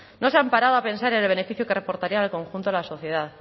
no se han parado a pensar en el beneficio que reportaría al conjunto de la sociedad